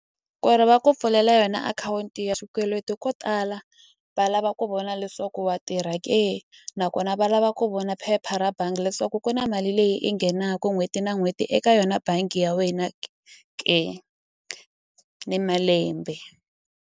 Ku ri va ku pfulela yona akhawunti ya xikweleti ko tala va lava ku vona leswaku wa tirha ke nakona va lava ku vona phepha ra bangi leswaku ku na mali leyi i nghenaku n'hweti na n'hweti eka yona bangi ya wena ke ni malembe.